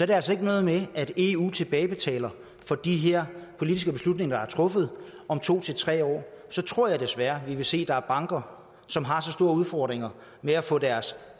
det altså ikke noget med at eu tilbagebetaler for de her politiske beslutninger der er truffet om to tre år så tror jeg desværre at vi vil se at der er banker som har så store udfordringer med at få deres